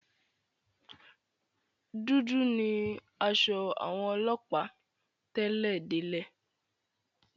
Dúdú ni aṣọ àwọn ọlọ́ọ̀pá tẹ́lẹ̀ délẹ̀